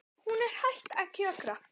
Hún er hætt að kjökra.